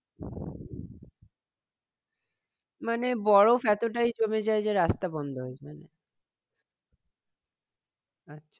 মানে বরফ এতটাই জমে যায় যে রাস্তা বন্ধ হয়ে যায়। আচ্ছা